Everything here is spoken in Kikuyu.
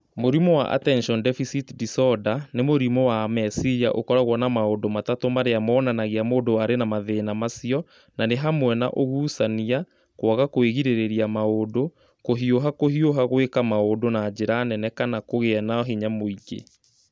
Mũrimũ wa Attention Deficit Disorder "nĩ mũrimũ wa meciria ũkoragwo na maũndũ matatũ marĩa monanagia mũndũ arĩ na mathĩna macio, na nĩ hamwe na ũgucania, kwaga kwĩgirĩrĩria maũndũ, kũhiũha kũhiũha gwĩka maũndũ na njĩra nene kana kũgĩa na hinya mũingĩ"